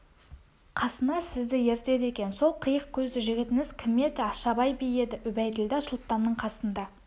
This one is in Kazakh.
қасына сізді ертеді екен сол қиық көзді жігітіңіз кім еді ашабай би еді үбәйділда сұлтанның қасында